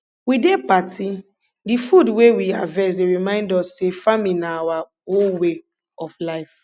we dey party de food wey we harvest dey remind us say farming na our whole way of life